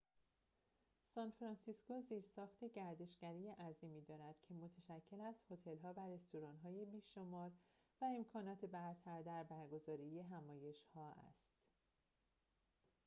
سان‌فرانسیسکو زیرساخت گردشگری عظیمی دارد که متشکل از هتل‌ها و رستوران‌های بی‌شمار و امکانات برتر در برگزاری همایش‌ها است